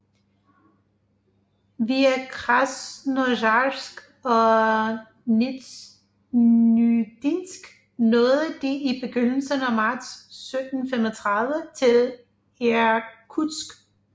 Via Krasnojarsk og Nizjneudinsk nåede de i begyndelsen af marts 1735 til Irkutsk